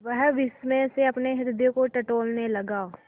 वह विस्मय से अपने हृदय को टटोलने लगा